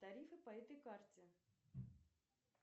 тарифы по этой карте